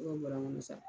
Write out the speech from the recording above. bɔra n me